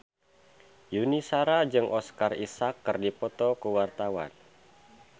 Yuni Shara jeung Oscar Isaac keur dipoto ku wartawan